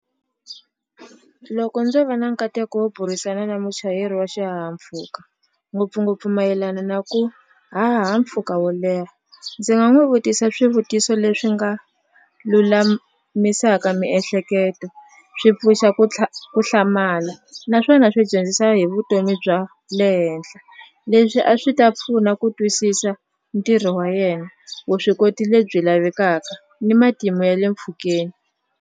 Loko ndzo va na nkateko wo burisana na muchayeri wa xihahampfhuka ngopfungopfu mayelana na ku haha mpfhuka wo leha ndzi nga n'wu vutisa swivutiso leswi nga lulamisaka miehleketo swi pfuxa ku ku hlamala naswona swi dyondzisa hi vutomi bya le henhla leswi a swi ta pfuna ku twisisa ntirho wa yena vuswikoti lebyi lavekaka ni matimu ya le mpfhukeni.